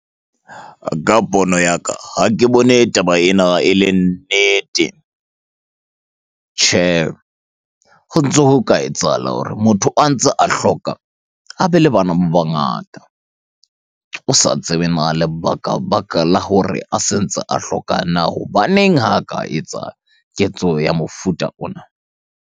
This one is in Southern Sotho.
Ka pono ya ka, ha ke bone taba ena e le nnete. Tjhe, ho ntso ho ka etsahala hore motho a ntse a hloka, a be le bana ba bangata. O sa tsebe na lebaka-baka la hore a sentse a hloka na hobaneng ha ka etsa ketso ya mofuta ona?